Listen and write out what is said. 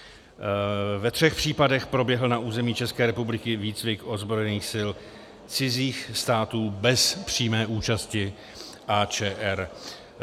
Ve třech případech proběhl na území České republiky výcvik ozbrojených sil cizích států bez přímé účasti ČR.